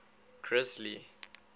grisly